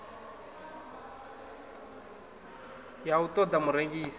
ya u ṱo ḓa murengisi